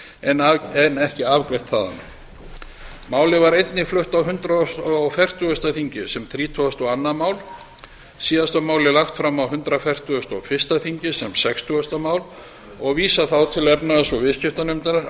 en ekki afgreitt þaðan málið var einnig flutt á hundrað og fertugasta þingi sem þrítugasta og annað mál síðast var málið lagt fram á hundrað fertugasta og fyrsta þingi sem sextugasta mál og vísað þá til efnahags og viðskiptanefndar að